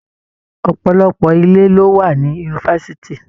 Ọ̀pọ̀lọpọ̀ ilé ló wà ní Yunifásítì.